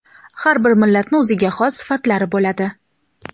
Har bir millatni o‘ziga xos sifatlari bo‘ladi.